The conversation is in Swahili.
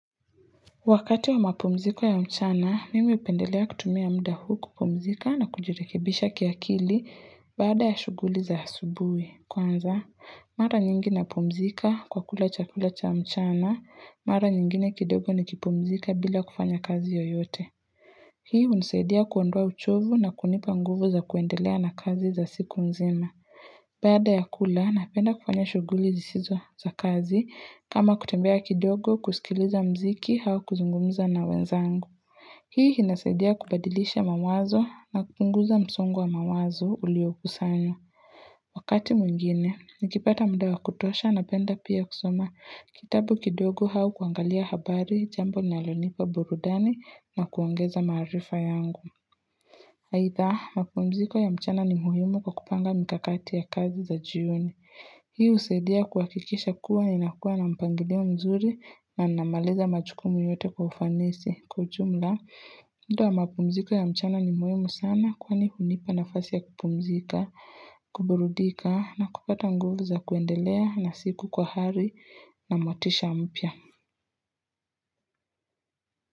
Wakati wa mapumziko ya mchana, mimi hupendelea kutumia mda huu kupumzika na kujirekebisha kiakili baada ya shughuli za asubuhi. Kwanza, mara nyingi napumzika kwa kula chakula cha mchana, mara nyingine kidogo nikipumzika bila kufanya kazi yoyote. Hii hunisaidia kuondoa uchovu na kunipa nguvu za kuendelea na kazi za siku nzima. Baada ya kula, napenda kufanya shughuli zisizo za kazi kama kutembea kidogo kusikiliza mziki au kuzungumza na wenzangu. Hii inasaidia kubadilisha mawazo na kupunguza msongo wa mawazo uliokusanyo. Wakati mwingine, nikipata mda wa kutosha napenda pia kusoma kitabu kidogo au kuangalia habari jambo linalonipa burudani na kuongeza maarifa yangu. Aidha, mapumziko ya mchana ni muhimu kwa kupanga mikakati ya kazi za jioni. Hii husaidia kuhakikisha kuwa ni inakuwa na mpangilio mzuri na namaliza majukumu yote kwa ufanisi. Kwa ujumla, mda wa mapumziko ya mchana ni muhimu sana kwani hunipa nafasi ya kupumzika, kuburudika na kupata nguvu za kuendelea na siku kwa hari na motisha mpya.